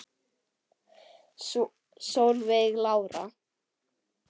Solveig Lára.